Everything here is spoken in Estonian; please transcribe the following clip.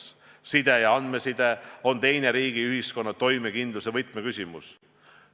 Side üldse, sh andmeside on teine riigi ja ühiskonna toimekindluse võtmeküsimus.